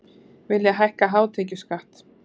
Vilja hækka hátekjuskatt